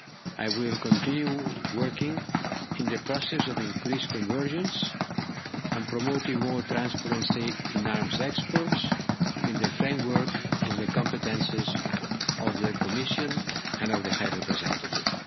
I will continue working in the process of increased convergence, and promoting more transparency in arms exports in the framework of the competences of the Commission and of the High Representative.